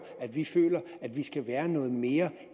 at vi føler at vi skal være noget mere